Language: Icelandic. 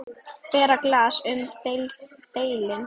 Bera glas mun delinn.